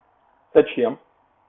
зачем